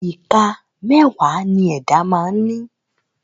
Ìka mẹ́wàá ni ẹ̀dá máa ń ní